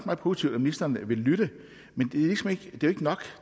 meget positivt at ministeren vil lytte men det er ikke nok